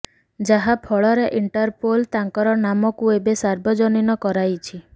ଯାହା ଫଳରେ ଇଣ୍ଟରପୋଲ୍ ତାଙ୍କର ନାମକୁ ଏବେ ସାର୍ବଜନୀନ କରାଇଛି